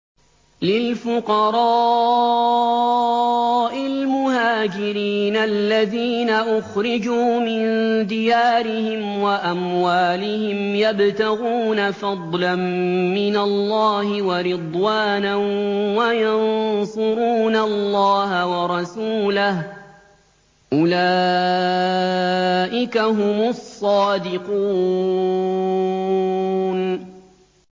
لِلْفُقَرَاءِ الْمُهَاجِرِينَ الَّذِينَ أُخْرِجُوا مِن دِيَارِهِمْ وَأَمْوَالِهِمْ يَبْتَغُونَ فَضْلًا مِّنَ اللَّهِ وَرِضْوَانًا وَيَنصُرُونَ اللَّهَ وَرَسُولَهُ ۚ أُولَٰئِكَ هُمُ الصَّادِقُونَ